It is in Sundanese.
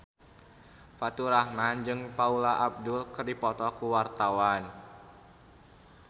Faturrahman jeung Paula Abdul keur dipoto ku wartawan